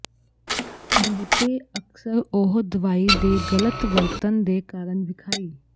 ਬਹੁਤੇ ਅਕਸਰ ਉਹ ਦਵਾਈ ਦੇ ਗਲਤ ਵਰਤਣ ਦੇ ਕਾਰਨ ਵਿਖਾਈ